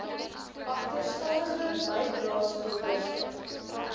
agterstallige bydraes veroorsaak